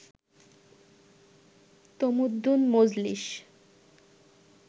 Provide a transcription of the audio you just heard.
Tamaddun Majlis